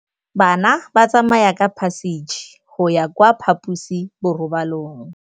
Bana ba tsamaya ka phašitshe go ya kwa phaposiborobalong.